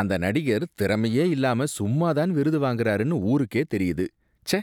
அந்த நடிகர் திறமையே இல்லாம சும்மா தான் விருது வாங்குறாருனு ஊருக்கே தெரியுது, ச்ச!